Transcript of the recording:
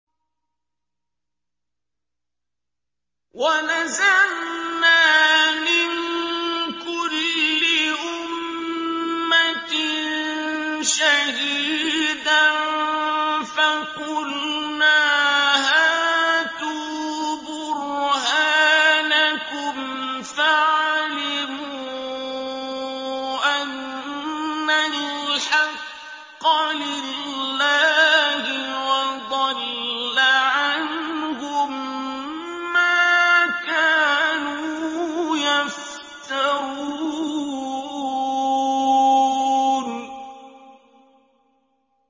وَنَزَعْنَا مِن كُلِّ أُمَّةٍ شَهِيدًا فَقُلْنَا هَاتُوا بُرْهَانَكُمْ فَعَلِمُوا أَنَّ الْحَقَّ لِلَّهِ وَضَلَّ عَنْهُم مَّا كَانُوا يَفْتَرُونَ